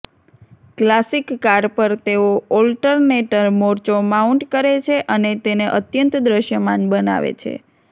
classic car પર તેઓ alternator મોરચો માઉન્ટ કરે છે અને તેને અત્યંત દૃશ્યમાન બનાવે છે